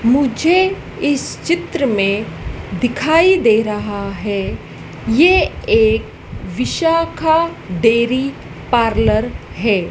मुझे इस चित्र में दिखाई दे रहा है ये एक विशाखा डेयरी पार्लर है।